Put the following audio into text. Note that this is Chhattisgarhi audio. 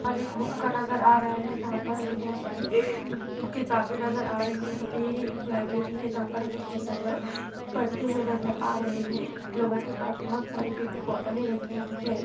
--पर एक बुक का नज़र आ रहा है जहां पर हमे बहुत सारी ] किताबे नज़र आ रही है झा यह एक लाइब्रेरी है जहाँ पे हमे बहुत सारे लोग पड़ते हुए नज़र आ रहे हैं लोगो के पास बहुत सारी पिंक बोतले रखी हुई है।